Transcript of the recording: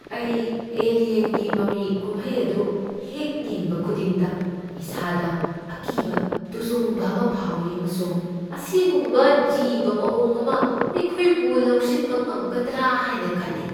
ꯑꯩ "ꯑꯦꯂꯤꯌꯟ"ꯒꯤ ꯃꯃꯤ ꯀꯨꯝꯍꯩ ꯑꯗꯨ ꯍꯦꯛ ꯌꯦꯡꯕ ꯈꯨꯗꯤꯡꯗ ꯏꯁꯥꯗ ꯑꯀꯤꯕ ꯇꯨꯖꯨꯡꯕ ꯑꯃ ꯐꯥꯎꯏ ꯑꯃꯁꯨꯡ ꯑꯁꯤꯒꯨꯝꯕ ꯖꯤꯕ ꯃꯑꯣꯡ ꯑꯃꯅ ꯑꯩꯈꯣꯏꯕꯨ ꯂꯧꯁꯤꯟꯕ ꯉꯝꯒꯗ꯭ꯔꯥ ꯍꯥꯏꯅ ꯈꯜꯂꯤ ꯫